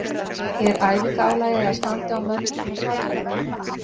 Er æfinga álagið eða standið á mönnum svona svakalegt?